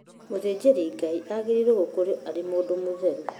Mũthĩnjĩri Ngai aagĩriirwo gũkorwo arĩ mũndũ mũtheru